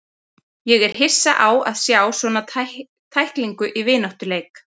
Ég var hissa á að sjá svona tæklingu í vináttuleik.